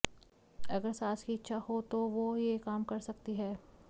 अगर सास की इच्छा हो तो वो ये काम कर सकती हैं